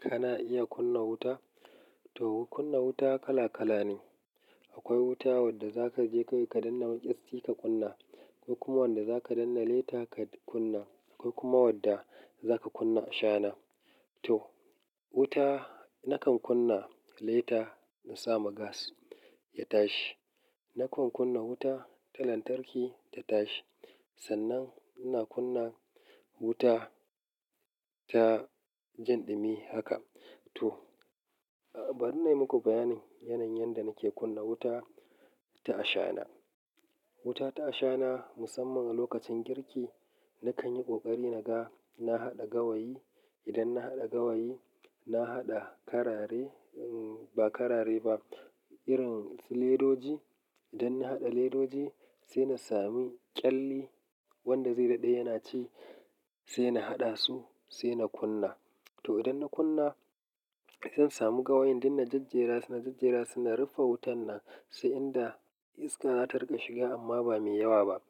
Kana iya kunna wuta? To, kunna wuta kala kala ne. Akwai wuta wadda za ka je ka danna maƙyassi ka kunna, akwai kuma wanda za ka danna lita ka kunna, akwai kuma wadda za ka kunna shana. To, wuta nakan kunna leta na sa ma gas ya tashi. Nakan kunna wuta ta lantarki ta tashi. Sannan ina kunna wuta ta jinɗimi haka. To, bari na yi muku bayanin yanayin yadda nake kunna wuta ta shana. Wuta ta shana musamman a lokacin girki, na kan yi ƙoƙari naga na haɗa gawayi. Idan na haɗa gawayi, na haɗa karare, ba karare ba, irin su ledoji. Idan na haɗa ledoji, sai na sami ƙyalli wanda zai daɗe yana ci, sai na haɗa su, sai na kunna. To, idan na kunna, zan samu gawayin din na jajjera su na jajjera su na rufe wutan nan sai inda iska za ta riƙa shiga amma ba mai yawa ba.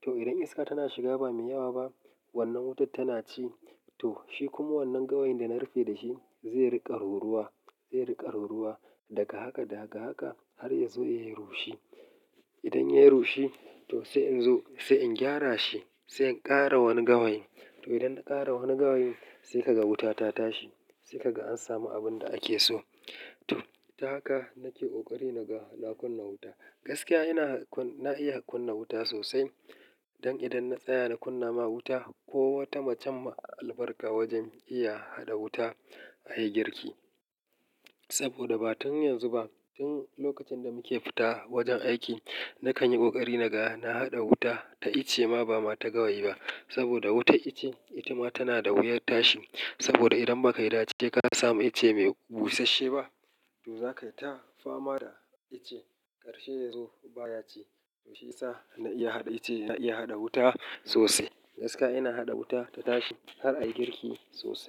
To, idan iska tana shiga ba mai yawa ba, wannan wutar tana ci. To, shi kuma wannan gawayin da na rufe da shi zai riƙa ruruwa, zai riƙa ruruwa daga haka daga haka har ya zo ya yi rushi. Idan ya yi rushi, to sai in zo, sai in gyara shi, sai in ƙara wani gawayi. To, idan na ƙara wani gawayi, sai kaga wuta ta tashi, sai kaga an samu abun da ake so. To, ta haka nake ƙoƙari naga na kunna wuta. Gaskiya ina, na iya kunna wuta sosai don idan na tsaya na kunna ma wuta, kowata macen ma albarka wajen iya haɗa wuta a yi girki. Saboda ba tun yanzu ba, tun lokacin da muke fita wajen aiki, na kan yi ƙoƙari naga na haɗa wuta ta itce ma ba ma ta gawayi ba. Saboda wutar itace ita ma tana da wuyar tashi. Saboda idan ba ka yi dace ka samu itace mai busasshe ba, to za ka yi ta fama da ice ƙarshe ya zo baya ci. To shi ya sa na iya haɗa ice, na iya haɗa wuta sosai. Gaskiya ina haɗa wuta ta tashi har a yi girki sosai.